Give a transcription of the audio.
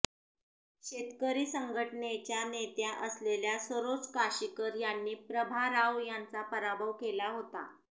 शेतकरी संघटनेच्या नेत्या असलेल्या सरोज काशीकर यांनी प्रभा राव यांचा पराभव केला होता